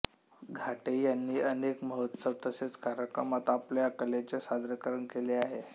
घाटे यांनी अनेक महोत्सव तसेच कार्यक्रमात आपल्या कलेचे सादरीकरण केले आहे